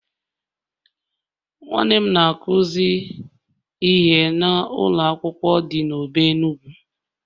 Nwanne m na-akuzi ihe na ụlọ akwụkwọ di na Obe Enugu..